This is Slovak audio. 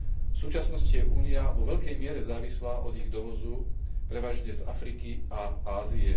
V súčasnosti je Únia vo veľkej miere závislá od ich dovozu prevažne z Afriky a Ázie.